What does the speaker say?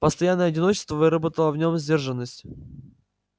постоянное одиночество выработало в нем сдержанность